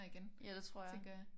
Ja det tror jeg